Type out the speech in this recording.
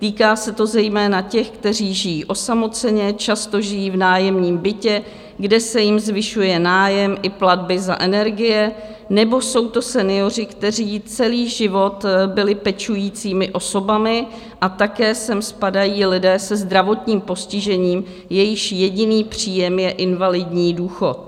Týká se to zejména těch, kteří žijí osamoceně, často žijí v nájemním bytě, kde se jim zvyšuje nájem i platby za energie, nebo jsou to senioři, kteří celý život byli pečujícími osobami, a také sem spadají lidé se zdravotním postižením, jejichž jediný příjem je invalidní důchod.